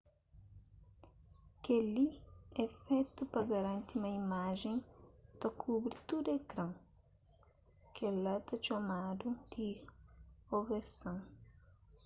kel-li é fetu pa garanti ma imajen ta kubri tudu ekran kel-la ta txomadu di oversan